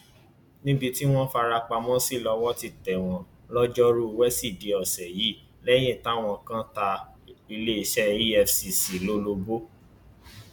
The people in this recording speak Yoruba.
níbi tí wọn farapamọ sí lọwọ ti tẹ wọn lọjọruú wẹsídẹẹ ọsẹ yìí lẹyìn táwọn kan ta iléeṣẹ efcc lólobó